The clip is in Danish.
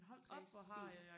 præcis